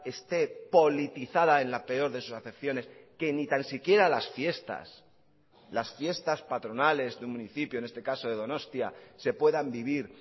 esté politizada en la peor de sus acepciones que ni tan siquiera las fiestas las fiestas patronales de un municipio en este caso de donostia se puedan vivir